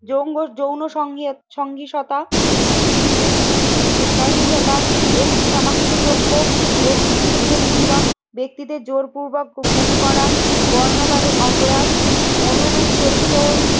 যৌন যৌনসংযোগ সঙ্গীততা সহিংসতা একটি শনাক্ত যোগ্য গোষ্ঠীর বিরুদ্ধে নিপীড়ন ব্যক্তিদের জোরপূর্বক গুম করা, বর্ণবাদে অপরাধ, অনুরূপ চরিত্র,